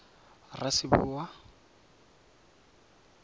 raseboa